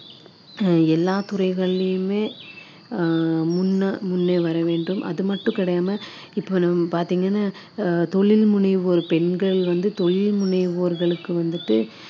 அஹ் எல்லா துறைகளிலுமே ஆஹ் முன்ன முன்னே வர வேண்டும் அது மட்டும் கிடையாம இப்போ நம்ம பார்த்தீங்கன்னா அஹ் தொழில் முனைவோர் பெண்கள் வந்து தொழில் முனைவோர்களுக்கு வந்துட்டு